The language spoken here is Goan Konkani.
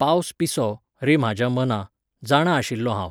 पावस पिसो, रे म्हाज्या मना, जाणा आशिल्लो हांव